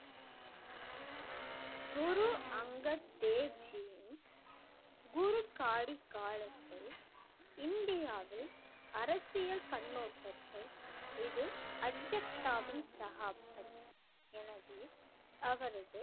குரு அங்கத் தேவ் ஜியின் குரு காடி காலத்தில் இந்தியாவில் அரசியல் கண்ணோட்டத்தை இது அக்ஜத்தவின சகாப்தம் எனவே அவரது